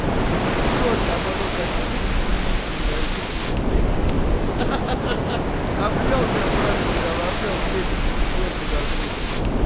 чётко а потом так ну держитесь яички мои девчули ха ха обнял тебя братка прямо обнял крепенько пятёрку до груста